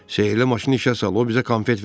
Sehri maşını işə sal, o bizə konfet verər.